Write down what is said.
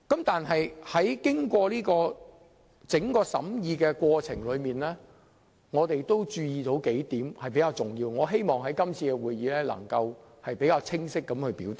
在整個審議過程中，我們注意到有數點比較重要，我希望能在今次會議清晰表達。